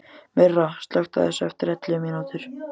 Myrra, slökktu á þessu eftir ellefu mínútur.